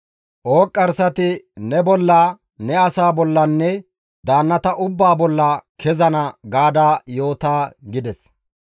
Ooqqarsati ne bolla, ne asaa bollanne daannata ubbaa bolla kezana› gaada yoota» gides.